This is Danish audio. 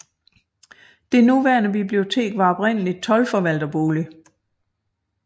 Det nuværende bibliotek var oprindeligt toldforvalterbolig